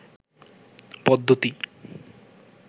পদ্ধতি